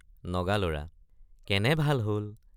নগালৰা—কেনে ভাল হল!